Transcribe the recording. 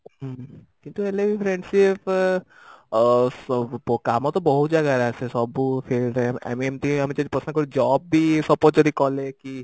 ହୁଁ କିନ୍ତୁ ହେଲେ ବି friendship ଅ ସ କାମ ତ ବହୁତ ଜାଗାରେ ଆସେ ସବୁ field ରେ ଆମେ ଏମତି ଆମେ ଯଦି ପସନ୍ଦ କରି job ବି suppose ଯଦି କଲେ କି